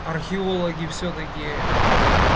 археологи всё-таки